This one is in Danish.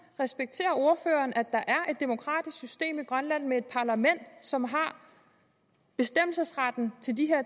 respekterer ordføreren at der er et demokratisk system i grønland med et parlament som har bestemmelsesretten